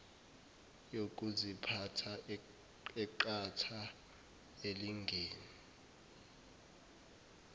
yokuziphatha eqatha elingene